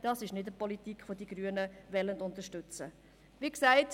Das ist nicht die Politik, welche die Grünen unterstützen wollen.